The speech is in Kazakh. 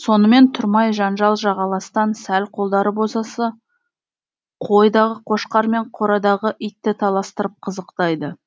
сонымен тұрмай жанжал жағаластан сәл қолдары босаса қойдағы қошқар мен қорадағы итті таластырып қызықтайды